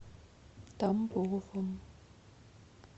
тамбовом